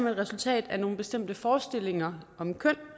et resultat af nogle bestemte forestillinger om køn